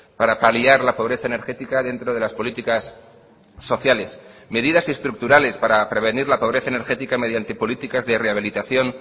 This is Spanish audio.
para paliar la pobreza energética dentro de las políticas sociales medidas estructurales para prevenir la pobreza energética mediante políticas de rehabilitación